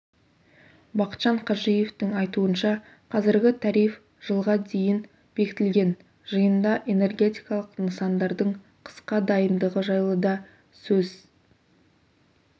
бақытжан қажиевтің айтуынша қазіргі тариф жылға дейін бекітілген жиында энергетикалық нысандардың қысқа дайындығы жайлы да сөз